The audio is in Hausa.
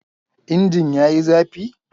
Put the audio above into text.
Injin yayi zafi?